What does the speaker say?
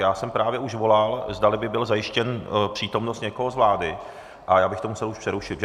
Já jsem právě už volal, zdali by byla zajištěna přítomnost někoho z vlády, a já bych to musel už přerušit.